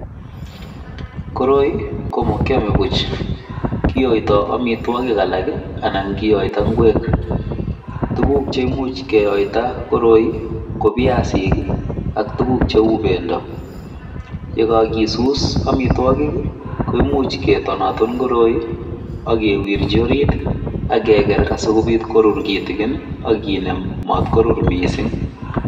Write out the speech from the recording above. Koroi komakyame puch, kiyoitoi amitwogik alak anan kiyoito ngwek tuguk cheimuch keyoito koroi ko viasik ak tuguk cheuu bendo yekakisus amitwogik koimuch ketonaton koroi akewirchi orit akeger asikobiit korur kitigin akinem matorur miising'.